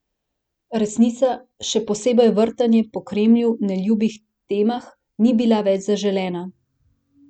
Resnica, še posebej vrtanje po Kremlju neljubih temah, ni bila več zaželena.